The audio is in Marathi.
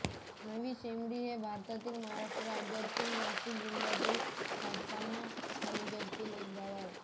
नवीशेमळी हे भारताच्या महाराष्ट्र राज्यातील नाशिक जिल्ह्यातील सटाणा तालुक्यातील एक गाव आहे